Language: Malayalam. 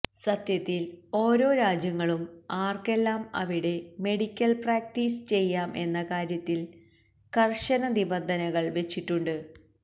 സത്യത്തിൽ ഓരോ രാജ്യങ്ങളും ആർക്കെല്ലാം അവിടെ മെഡിക്കൽ പ്രാക്ടീസ് ചെയ്യാം എന്ന കാര്യത്തിൽ കർശന നിബന്ധനകൾ വച്ചിട്ടുണ്ട്